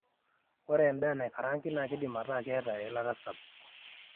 ore endaa naikaraangi naa keidip ataa keet eilata sapuk